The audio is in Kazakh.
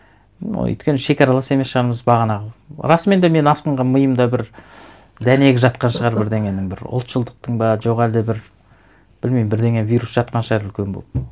ну өйткені шекаралас емес шығармыз бағанағы расымен де мен астыңғы миымда бір дәнегі жатқан шығар бірдеңенің бір ұлтшылдықтың ба жоқ әлде бір білмеймін бірдеңе вирус жатқан шығар үлкен болып